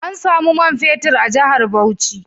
An samu man fetur a jihar Bauchi